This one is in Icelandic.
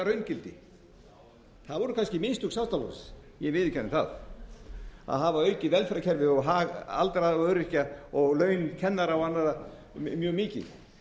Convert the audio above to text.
raungildi að voru kannski mistök sjálfstæðisflokksins ég viðurkenni það að hafa aukið velferðarkerfið og hag aldraðra og öryrkja og laun kennara og annarra mjög mikið